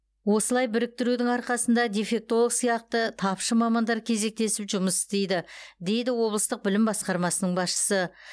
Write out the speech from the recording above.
осылай біріктірудің арқасында дефектолог сияқты тапшы мамандар кезектесіп жұмыс істейді дейді облыстық білім басқармасының басшысы